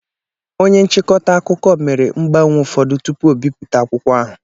Onye nchịkọta akụkọ mere mgbanwe ụfọdụ tupu o bipụta akwụkwọ ahụ